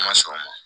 Ma sɔn o ma